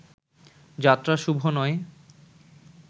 যাত্রা শুভ নয়